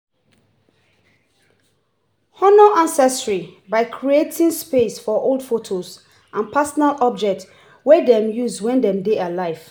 honor ancestry by creating space for old photos and personal objects wey dem use when dem dey alive